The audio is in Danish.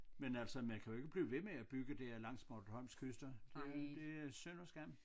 Men altså man kan jo ikke blive ved med at bygge der langs Bornholms kyster det det er synd og skam